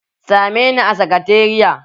Sa me ni a sakatariya!